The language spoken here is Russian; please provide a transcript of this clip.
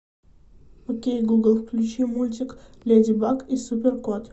окей гугл включи мультик леди баг и супер кот